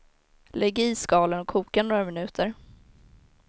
Lägg i skalen och koka några minuter.